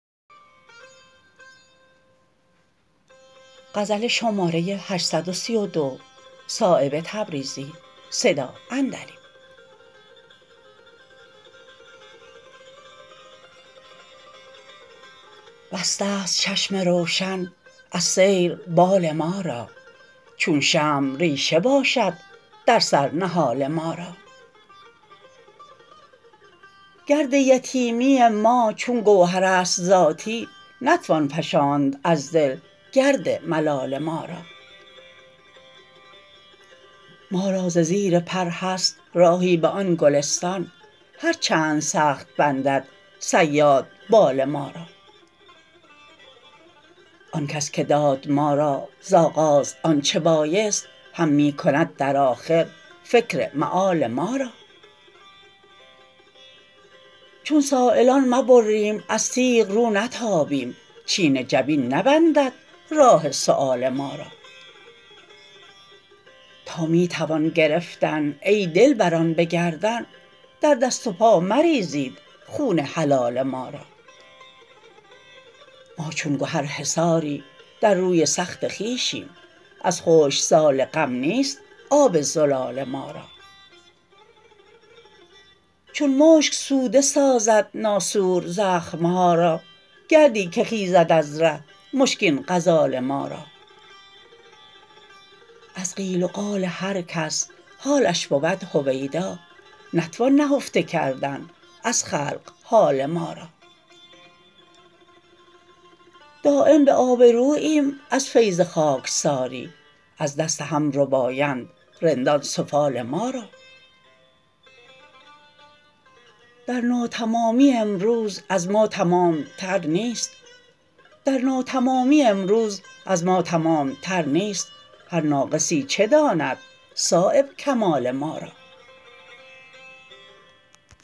بسته است چشم روشن از سیر بال ما را چون شمع ریشه باشد در سر نهال ما را گرد یتیمی ما چون گوهرست ذاتی نتوان فشاند از دل گرد ملال ما را ما را ز زیر پر هست راهی به آن گلستان هر چند سخت بندد صیاد بال ما را آن کس که داد ما را ز آغاز آنچه بایست هم می کند در آخر فکر مآل ما را چون سایلان مبرم از تیغ رو نتابیم چین جبین نبندد راه سؤال ما را تا می توان گرفتن ای دلبران به گردن در دست و پا مریزید خون حلال ما را ما چون گهر حصاری در روی سخت خویشیم از خشکسال غم نیست آب زلال ما را چون مشک سوده سازد ناسور زخم ها را گردی که خیزد از ره مشکین غزال ما را از قیل و قال هر کس حالش بود هویدا نتوان نهفته کردن از خلق حال ما را دایم به آبروییم از فیض خاکساری از دست هم ربایند رندان سفال ما را در ناتمامی امروز از ما تمامتر نیست هر ناقصی چه داند صایب کمال ما را